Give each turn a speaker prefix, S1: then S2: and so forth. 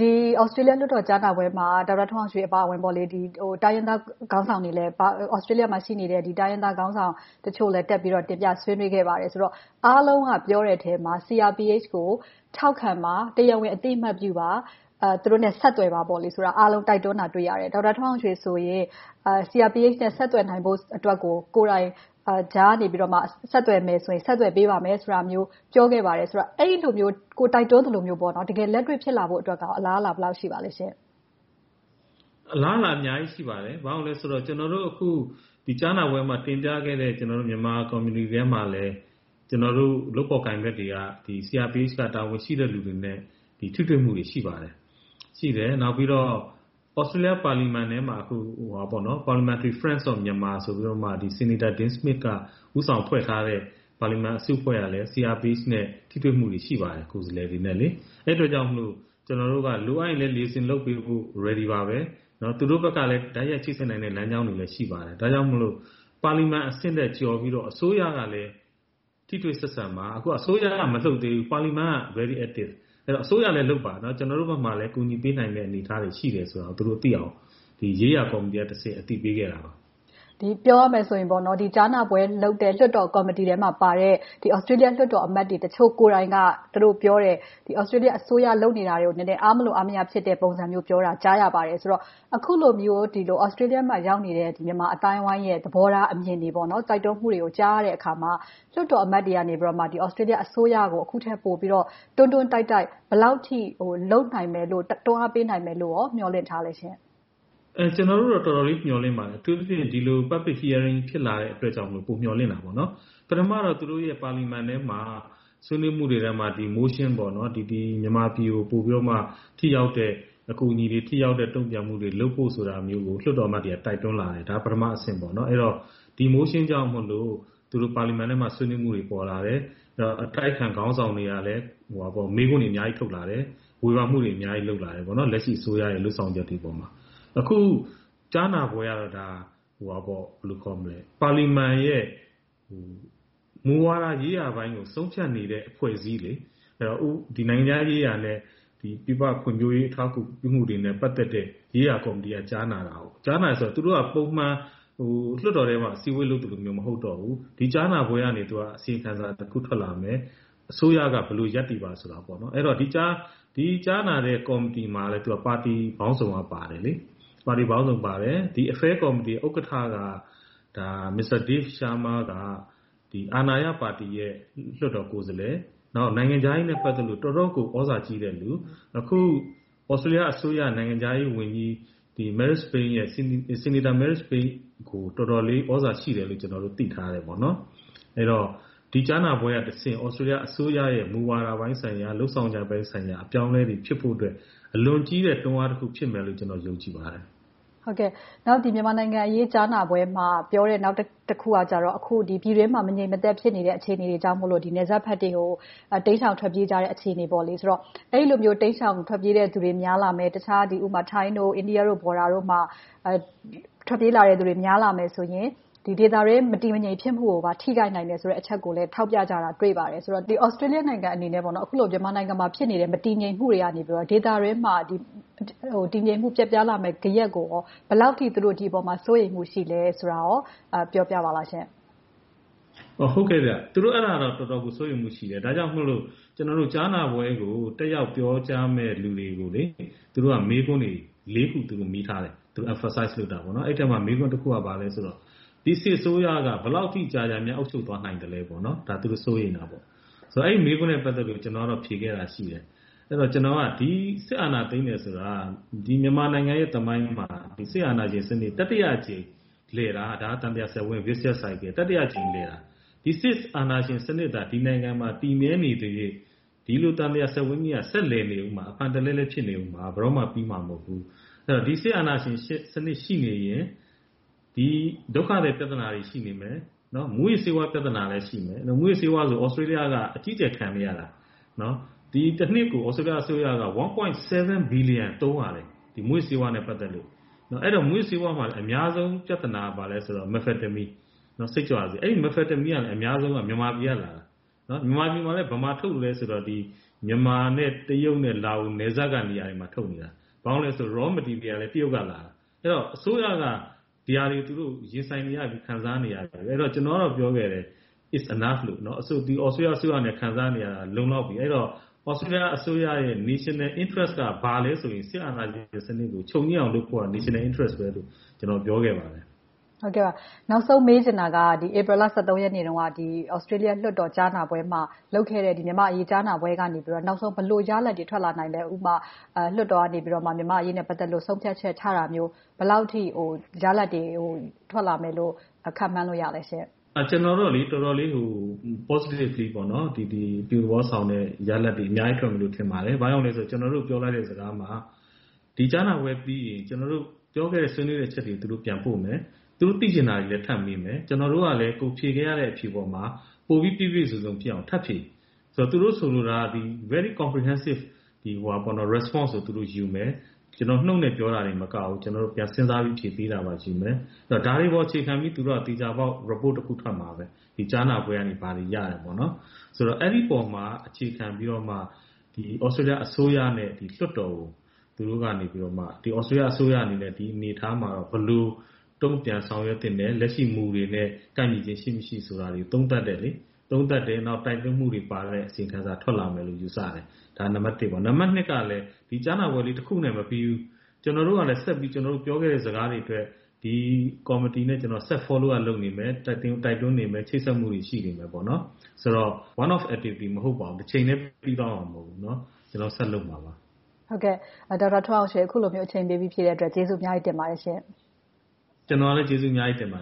S1: ဒီသြစတေးလျ ကြားနာပွဲမှာ ဒေါက်တာထွန်းအောင်ရွှေအပါအဝင် သြစတေးလျမှာ ရှိနေတဲ့ တိုင်းရင်းသားခေါင်းဆောင်တချို့လဲ တက်ပြီးတော့ တင်ပြဆွေးနွေးခဲ့ပါတယ်ဆိုတော့ အားလုံးကပြောတဲ့ထဲမှာ CRPH ကို ထောက်ခံပါ။ တရားဝင်အသိအမှတ်ပြုပါ။ သူတို့နဲ့ ဆက်သွယ်ပါဆိုတာကို အားလုံးတိုက်တွန်းတာကို တွေ့ရတယ်။ ဒေါက်တာထွန်းအောင်ရွှေဆိုရင် CRPH နဲ့ ဆက်သွယ်နိုင်ဖို့အတွက်ကို ကိုယ်တိုင်ကြားကနေ ဆက်သွယ်မယ်ဆိုရင် ဆက်သွယ်ပေးပါမယ်ဆိုတာမျိုးကို ပြောခဲ့ပါတယ်ဆိုတော့ အဲဒီလိုမျိုး ကိုယ်တိုက်တွန်းသလိုမျိုး တကယ်လက်တွေ့ဖြစ်လာဖို့ အလားအလာ ဘယ်လောက်ရှိပါသလဲရှင့်။
S2: အလားအလာက အများကြီး ရှိပါတယ်။ ဘာဖြစ်လို့လဲဆိုတော့ ကျနော်တို့ အခုကြားနာပွဲမှာ တင်ပြခဲ့တဲ့ မြန်မာကွန်မြူနီတီထဲမှာလည်း ကျနော်တို့ လုပ်ဖော်ကိုင်ဖက်တွေကလဲ CRPH က တာဝန်ရှိသူတွေနဲ့ ထိတွေ့မှုတွေ ရှိပါတယ်။ နောက်ပြီးတော့ သြစတေးလျပါလီမန်ထဲမှာ အခု Parliament Friends of Myanmar ဆိုပြီး Senator Dean Smith က ဦးဆောင်ဖွဲ့ထားတဲ့ ပါလီမန်အစုအဖွဲ့ကလည်း CRPH ကိုယ်စားလှယ်တွေနဲ့ ထိတွေ့မှုတွေ ရှိပါတယ်။ အဲဒါကြောင့်မို့ ကျနော်တို့တွေက လိုအပ်ရင်လဲ Liaison လုပ်ပေးဖို့ ready ပါပဲ။ သူတို့ဘက်ကလဲ တိုက်ရိုက်ချိတ်ဆက်နိုင်တဲ့ လမ်းကြောင်းတွေလည်း ရှိပါတယ်။ ဒါကြောင့်မို့ ပါလီမန်အဆင့်ထက် ကျော်ပြီးတော့ အစိုးရကလည်း ထိတွေ့ဆက်ဆံပါ။ အခုက အစိုးရက မလှုပ်သေးဘူး။ ပါလီမန်က very active. ဒါကြောင့် အစိုးရလည်းလုပ်ပါ။ ကျနော်တို့ဘက်မှာလဲ ကူညီပေးနိုင်တဲ့ အနေအထားတွေ ရှိတယ်ဆိုတာကို သူတို့သိအောင် ဒီရေးရာကော်မတီကနေ အသိပေးခဲ့တာ ဖြစ်ပါတယ်။
S1: ပြောရမယ်ဆိုရင် ဒီကြားနာပွဲလုပ်တဲ့ လွှတ်တော်ကော်မတီထဲမှာပါတဲ့ သြစတေးလျလွှတ်တော်အမတ်တွေ တချို့ကိုယ်တိုင်က ပြောတယ် သြစတေးလျအစိုးရ လုပ်နေတာတွေကို အားမလိုအားမရ ဖြစ်နေတဲ့ပုံစံမျိုးပြောတာကို ကြားရပါတယ်။ ဆိုတော့ အခုလိုမျိုး သြစတေးလျမှာ ရောက်နေတဲ့ မြန်မာအသိုင်းအဝိုင်းရဲ့ သဘောထားအမြင်တွေ၊ တိုက်တွန်းမှုတွေကို ကြားရတဲ့အခါမှာ လွှတ်တော်အမတ်တွေကနေ သြစတေးလျအစိုးရကို အခုထက်ပိုပြီးတော့ တွန်းတွန်းတိုက်တိုက် ဘယ်လောက်အထိ လုပ်နိုင်မယ်လို့ တွန်းအားပေးနိုင်မယ်လို့ မျှော်လင့်ထားသလဲရှင့်။
S2: ကျနော်တို့ကတော့ တော်တော်လေး မျှော်လင့်ပါတယ်။ အထူးသဖြင့် ဒီလို Public Hearing ဖြစ်လာတဲ့အတွက်ကြောင့်မို့ ပိုမျှော်လင့်တာပေါ့။ ပထမတော့ သူတို့ရဲ့ ပါလီမန်ထဲမှာ ဆွေးနွေးမှုတွေထဲမှာ motion မြန်မာပြည်ကို ပိုပြီးတော့ ထိရောက်တဲ့ အကူအညီတွေ၊ ထိရောက်တဲ့ တုံ့ပြန်မှုတွေ လုပ်ဖို့ဆိုတာမျိုးကို လွှတ်တော်အမတ်တွေက တိုက်တွန်းလာတယ်။ ဒါက ပထမအဆင့်။ ဒီ motion ကြောင့်မို့ သူတို့ပါလီမန်ထဲမှာ ဆွေးနွေးမှုတွေ ပေါ်လာတယ်။ အတိုက်အခံခေါင်းဆောင်တွေကလည်း မေးခွန်းတွေ အများကြီးထုတ်လာတယ်။ ဝေဖန်မှုတွေ အများကြီးလုပ်လာတယ်။ လက်ရှိအစိုးရရဲ့ လုပ်ဆောင်ချက်တွေအပေါ်မှာ။ အခု ကြားနာပွဲကတော့ ပါလီမန်ရဲ့ မူဝါဒရေးရာပိုင်းကို ဆုံးဖြတ်နေတဲ့ အဖွဲ့အစည်း။ နိုင်ငံခြားရေးရာနဲ့ ပြည်ပဖွံ့ဖြိုးရေး အထောက်အကူပြုမှုတွေနဲ့ ပတ်သက်တဲ့ ရေးရာကော်မတီက ကြားနာတာ။ သူတို့က ပုံမှန်လွှတ်တော်ထဲမှာ အစည်းအဝေးလုပ်သလိုမျိုး မဟုတ်တော့ဘူး။ ဒီကြားနာပွဲကနေ အစီရင်ခံစာတခု ထွက်လာမယ်။ အစိုးရက ဘယ်လိုရပ်တည်ပါဆိုတာ။ ဒီကြားနာတဲ့ ကော်မတီမှာ ပါတီပေါင်းစုံက ပါတယ်။ ဒီ Affair Committee ဥက္ကဋ္ဌက Mr. Dave Sharma က အာဏာရပါတီရဲ့ လွှတ်တော်ကိုယ်စားလှယ်။ နောက် နိုင်ငံခြားရေးနဲ့ ပတ်သက်လို့ တော့်တော်ကို သြဇာကြီးတဲ့လူ။ အခု သြစတေးလျအစိုးရ နိုင်ငံခြားရေးဝန်ကြီး Senator Marise Payne ကို တော်တော်လေးသြဇာရှိတယ်လို့ ကျနော်တို့ သိထားတယ်။ အဲဒီတော့ ဒီကြားနာပွဲကတဆင့် သြစတေးလျအစိုးရရဲ့ မူဝါဒပိုင်းဆိုင်ရာ၊ လုပ်ဆောင်ချက်ပိုင်းဆိုင်ရာ အပြောင်းအလဲတွေ ဖြစ်ဖို့အတွက် အလွန်ကြီးတဲ့တွန်းအားတခု ဖြစ်မယ်လို့ ကျနော် ယုံကြည်ပါတယ်။
S1: နောက် မြန်မာနိုင်ငံရေး ကြားနာပွဲမှာ ပြောတဲ့နောက်တခုကကြတော့ ပြည်တွင်းမှာ မငြိမ်မသက်ဖြစ်နေတဲ့ အခြေအနေတွေကြောင့် နယ်စပ်ဘက်တွေကို တိမ်ရှောင်ထွက်ပြေးကြတဲ့ အခြေအနေ။ အဲဒီလို တိမ်ရှောင်ထွက်ပြေးတဲ့လူတွေ များလာမယ့် ထိုင်း၊ အိန္ဒိယ နယ်စပ်ဒေသတွေမှာ ထွက်ပြေးလာမယ့်သူတွေ များလာမယ်ဆိုရင် ဒေသတွင်း မတည်မငြိမ် ဖြစ်မှုကိုပါ ထိခိုက်နိုင်တဲ့ အချက်ကိုပါ ထောက်ပြကြတာ တွေ့ပါတယ်။ သြစတေးလျနိုင်ငံအနေနဲ့ အခုလို မြန်မာနိုင်ငံမှာဖြစ်နေတဲ့ မတည်ငြိမ်မှုတွေကနေ ဒေသတွင်းမှာ တည်ငြိမ်မှုပျက်ပြားလာမယ့် ဂယက်ကို ဘယ်လောက်အထိ ဒီအပေါ်မှာ စိုးရိမ်မှုရှိသလဲဆိုတာကို ပြောပြပါလားရှင့်။
S2: သူတို့ အဲဒါကို တော်တော်လေး စိုးရိမ်မှုရှိတယ်။ ဒါကြောင့်မို့လို့ ကြားနာပွဲကို တက်ရောက်ပြောကြားမယ့် လူတွေကို မေးခွန်းတွေ ခု မေးထားတယ်။ Emphasize လုပ်တာပေါ့။ အဲဒီအထဲမှာ မေးခွန်းတခုက ဘာလဲဆိုတော့ ဒီစစ်အစိုးရက ဘယ်လောက်ထိကြာကြာ အုပ်ချုပ်သွားနိုင်သလဲ။ ဒါက သူတို့ စိုးရိမ်တာ။ အဲဒီမေးခွန်းနဲပ ပတ်သက်လို့ ကျနော်ဖြေခဲ့တာက ဒီစစ်အာဏာသိမ်းတယ်ဆိုတာ မြန်မာနိုင်ငံရဲ့သမိုင်းမှာ စစ်အာဏာရှင်စနစ် တတိယအကြိမ်လည်တာ။ သံသရာစက်ဝိုင်း Vicious Circle - ဒီစစ်အာဏာရှင်စနစ်သာ ဒီနိုင်ငံမှာ တည်မြဲနေသရွေ့ ဒီလိုသံသရာစက်ဝိုင်းကြီးက ဆက်လည်နေမှာ၊ အဖန်တလဲလဲ ဖြစ်နေအုံးမှာ။ ဘယ်တော့မှ ပြီဆုံးသွားမှာ မဟုတ်ဘူး။ ဒီစစ်အာဏာရှင်စနစ် ရှိနေသရွေ့ ဒီဒုက္ခသည်ပြဿနာတွေ ရှိနေမယ်။ မူးယစ်ဆေးဝါး ပြဿနာတွေလည်း ရှိမယ်။ မူးယစ်ဆေးဝါးဆိုရင် သြစတေးလျက အကြီးအကျယ် ခံနေရတာ။ တနှစ်ကို သြစတေးလျအစိုးရက ၁.၇ ဘီလီယံ သုံးရတယ်။ မူးယစ်ဆေးဝါးမှာလည်း အများဆုံး ပြဿနာက ဘာလဲဆိုတော့ Methamphetamine စိတ်ကြွဆေး ဖြစ်တယ်။ အဲဒီဆေးက အများဆုံး မြန်မာပြည်ကလာတာ။ မြန်မာပြည်မှာ ဘယ်မှာထုတ်သလဲဆိုရင် မြန်မာနဲ့ တရုတ်၊ လားအိုနယ်စပ်တွေမှာ ထုတ်နေတာ။ ဘာဖြစ်လို့လဲဆိုတော့ Raw Materials တွေက တရုတ်ကလာတာ။ အဲဒီတော့ အစိုးရက ဒီဟာတွေ ရင်ဆိုင်နေရပြီ၊ ခံစားနေရပြီ။ ကျနော်က ပြောခဲ့တယ် It’s enough သြစတေးလျအစိုးရအနေနဲ့ ခံစားနေရတာ လုံလောက်ပြီ။ အဲဒီတော့ သြစတေးလျအစိုးရရဲ့ National Interest က ဘာလဲဆိုရင် စစ်အာဏာရှင်စနစ်ကို ချုပ်ငြိမ်းအောင်လုပ်ဖို့ National Interest လို့ ကျနော် ပြောခဲ့ပါတယ်။
S1: နောက်ဆုံး မေးချင်တာက ဧပြီလ ရက်နေ့တုန်းက သြစတေးလျလွှတ်တော် ကြားနာပွဲမှာ လုပ်ခဲ့တဲ့ မြန်မာ့အရေး ကြားနာပွဲကနေ နောက်ဆုံး ဘယ်လိုရလဒ်တွေ ထွက်လာနိုင်သလဲ။ နောက်ဆုံး ဥပမာ လွှတ်တော်ကနေ မြန်မာ့အရေးနဲ့ ပတ်သက်လို့ ဆုံးဖြတ်ချက်ချတာမျိုး ဘယ်လောက်အထိ ရလဒ်တွေ ထွက်လာမယ်လို့ ခန့်မှန်းလို့ ရသလဲရှင့်။
S2: ကျနော်ကတော့ တော်တော်လေးကို Positively အပြုသဘောဆောင်မယ့် ရလဒ်တွေ အများကြီးရမယ်လို့ ထင်ပါတယ်။ ဘာကြောင့်လဲဆိုတော့ ကျနော်တို့ ပြောလိုက်တဲ့ စကားမှာ ဒီကြားနာပွဲပြီးရင် ကျနော်တို့ ပြောခဲ့တဲ့ ဆွေးနွေးခဲ့တဲ့အချက်တွေကို ပြန်ပို့မယ်။ သူတို့သိချင်တာတွေကိုလည်း ထပ်မေးမယ်။ ကျနော်တို့ကလည်း ဖြေခဲ့ရတဲ့ အဖြေပေါ်မှာ၊ ပိုပြီးပြည့်ပြည့်စုံစုံဖြစ်အောင် ထပ်ဖြည့်ပေးမယ်။ သူတို့ဆိုလိုတာက Very comprehensive responses တွေကို ယူမယ်။ ကျနော်တို့ နှုတ်နဲ့ပြောတာတင်မကဘူး၊ ပြန်စဉ်းစားပြီး ဖြေပေးတာကိုယူမယ်။ ဒါတွေကို အခြေခံပြီး သူတို့က သေချာပေါက် Report တခု ထွက်မှာပဲ။ ကြားနာပွဲကနေ ဘာတွေရတယ်ဆိုတဲ့အပေါ်မှာ အခြေခံပြီးတော့ သြစတေးလျအစိုးရနဲ့ လွှတ်တော်ကို သူတို့က သြစတေးလျအစိုးရအနေနဲ့ ဒီအနေအထားမှာ ဘယ်လိုတုံ့ပြန်ဆောင်ရွက်သင့်တယ်။ လက်ရှိ မူတွေနဲ့ ကိုက်ညီခြင်း ရှိမရှိဆိုတာတွေကို သုံးသပ်တယ်။ နောက် တိုက်တွန်းမှုတွေပါတဲ့ အစီရင်ခံစာ ထွက်လာမယ်လို့ ယူဆတယ်။ ဒါက နံပတ် ။ နံပတ် က ဒီကြားနာပွဲလေးတခုနဲ့ မပြီဘူး။ ကျနော်တို့ကလဲ ကျနော်တို့ ပြောခဲ့တဲ့ စကားတွေအတွက် ဒီကော်မတီနဲ့ ကျနော်တို့ ဆက်ပြီးတော့ Follow up လုပ်နေမယ်။ တိုက်တွန်းနေမယ်။ ချိတ်ဆက်မှုတွေ ရှိနေမယ်ဆိုတော့ One of activities မဟုတ်ပါဘူး။ တချိန်တည်း ပြီးသွားမှာ မဟုတ်ပါဘူး။ ကျနော်တို့ ဆက်လုပ်နေမှာပါ။
S3: ဒေါက်တာထွန်းအောင်ရွှေ အခုလို အချိန်ပေးပြီး ဖြေပေးတဲ့အတွက် ကျေးဇူးအများကြီး တင်ပါတယ်ရှင့်။
S2: ကျနော်ကလည်း ကျေးဇူးအများကြီး တင်ပါတ